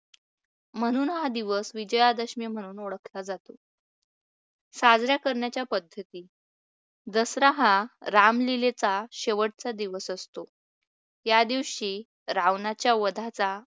म्हणून हा दिवस विजयादशमी म्हणून ओळखला जातो. साजरा करण्याच्या पद्धती दसरा हा रामलीलेचा शेवटचा दिवस असतो. या दिवशी रावणाच्या वधाचा